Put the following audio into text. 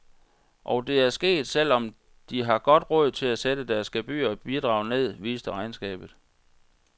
Og det er sket, selv om de har godt råd til at sætte deres gebyrer og bidrag ned, viste regnskabet.